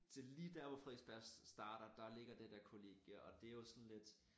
Til lige dér hvor Frederiksberg starter der ligger det der kollegie